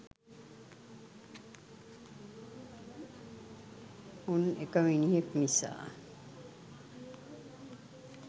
උන් එක මිනිහෙක් නිසා